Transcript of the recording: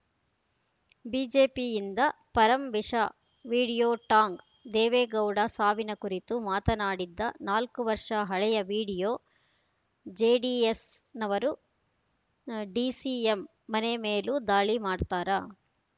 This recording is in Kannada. ಬಿಜೆಪಿಯಿಂದ ಪರಂ ವಿಷ ವಿಡಿಯೋ ಟಾಂಗ್‌ ದೇವೇಗೌಡ ಸಾವಿನ ಕುರಿತು ಮಾತಾಡಿದ್ದ ನಾಲ್ಕು ವರ್ಷ ಹಳೆಯ ವಿಡಿಯೋ ಜೆಡಿಎಸ್‌ನವರು ಡಿಸಿಎಂ ಮನೆ ಮೇಲೂ ದಾಳಿ ಮಾಡ್ತಾರಾ